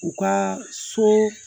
U ka so